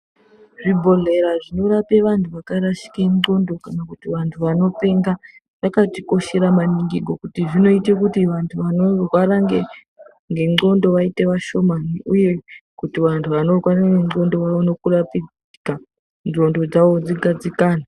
Zvibhehleya zvinorapa antu akarashika ngonxo kana kuti vantu vanopenga zvakatikoshera maningi kuti vantu vanorwara vaite vashomani uye kuti vantu vanorwara ngenonxo vaone kurapika ngonxo dzawo dzione kugadzikana.